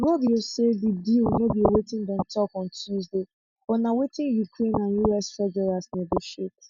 rubio say di deal no be wetin dem tok on tuesday but na wetin ukraine and us treasuries negotiate